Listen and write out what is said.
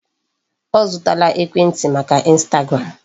Ọ zụtala ekwentị maka Instagram.